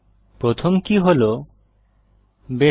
প্রথম কী হল বাসিস